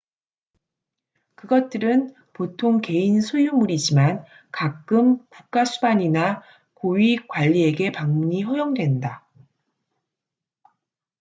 그것들은 보통 개인 소유물이지만 가끔 국가수반이나 고위 관리에게 방문이 허용된다